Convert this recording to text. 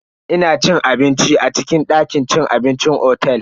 Ina cin abinci a cikin dakin cin abincin otel.